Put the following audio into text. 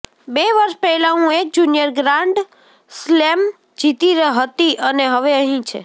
બે વર્ષ પહેલા હું એક જૂનિયર ગ્રાન્ડ સ્લેમ જીતી હતી અને હવે અહીં છે